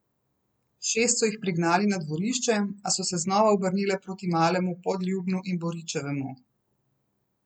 Šest so jih prignali na dvorišče, a so se znova obrnile proti Malemu Podljubnu in Boričevemu.